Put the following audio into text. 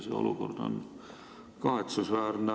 See olukord on kahetsusväärne.